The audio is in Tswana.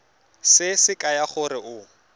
se se kaya gore o